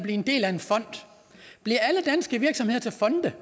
en del af en fond bliver alle danske virksomheder til fonde